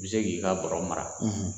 I bɛ se k'i ka bɔrɛ mara